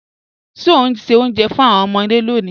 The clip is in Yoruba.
Ṣẹ o n ṣẹ́ ọ̀unjẹ́ fún awọn ọmọde lónì?